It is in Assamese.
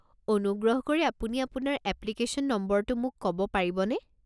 অনুগ্ৰহ কৰি আপুনি আপোনাৰ এপ্লিকেশ্যন নম্বৰটো মোক ক'ব পাৰিবনে?